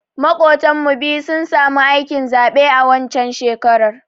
Maƙotan mu biyu sun samu aikin zaɓe a waccan shekarar